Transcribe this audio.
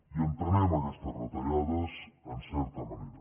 i entenem aquestes retallades en certa manera